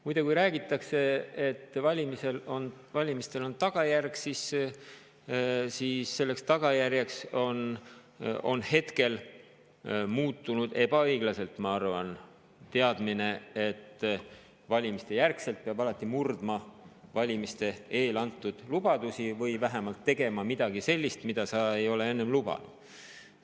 Muide, kui räägitakse, et valimistel on tagajärg, siis selleks tagajärjeks on praegu muutunud – ma arvan, ebaõiglaselt – teadmine, et valimistejärgselt peab alati murdma valimiste eel antud lubadusi või vähemalt tegema midagi sellist, mida sa ei ole enne lubanud.